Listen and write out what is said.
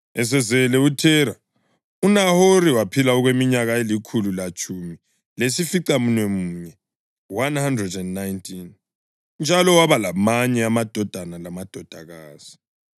Esezele uThera, uNahori waphila okweminyaka elikhulu letshumi lesificamunwemunye (119), njalo waba lamanye amadodana lamadodakazi.